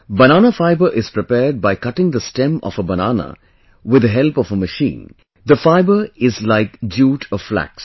Banana fibre is prepared by cutting the stem of a banana with the help of a machine, the fibre is like jute or flax